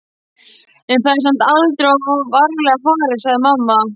en það er samt aldrei of varlega farið, sagði mamma.